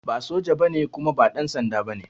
Ba soja ba ne kuma ba ɗansanda ba ne